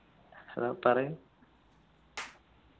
hello പറയു